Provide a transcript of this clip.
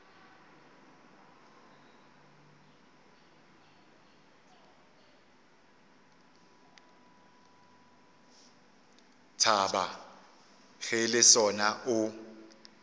thaba ge le sona o